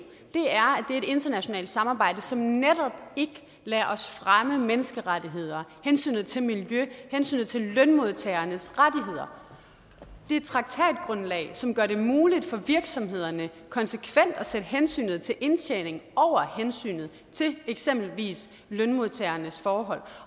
internationalt samarbejde som netop ikke lader os fremme menneskerettigheder hensynet til miljø hensynet til lønmodtagernes rettigheder det er et traktatgrundlag som gør det muligt for virksomhederne konsekvent at sætte hensynet til indtjening over hensynet til eksempelvis lønmodtagernes forhold